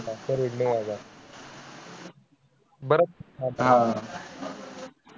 Per head नऊ हजार आह